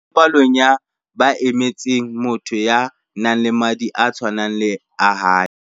O ne a kene palong ya ba emetseng motho ya nang le madi a tshwanang le a hae.